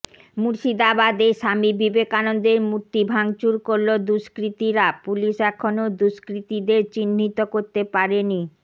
মুর্শিদাবাদে স্বামী বিবেকান্দের মূর্তি ভাঙচুর করল দুষ্কৃতিরা পুলিশ এখনও দুষ্কৃতিদের চিহ্নিত করতে পারেনি